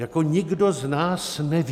Jako nikdo z nás neví...